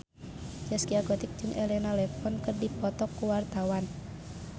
Zaskia Gotik jeung Elena Levon keur dipoto ku wartawan